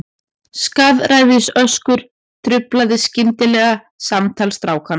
Skaðræðisöskur truflaði skyndilega samtal strákanna.